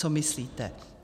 Co myslíte?